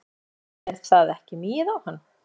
Jóhannes: En það er ekki migið á hann?